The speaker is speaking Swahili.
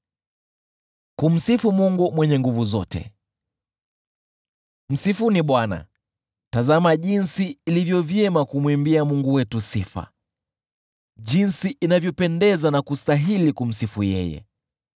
Msifuni Bwana . Tazama jinsi ilivyo vyema kumwimbia Mungu wetu sifa, jinsi inavyopendeza na kustahili kumsifu yeye!